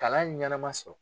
Kalan ɲɛnama sɔrɔ.